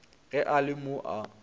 ge a le mo a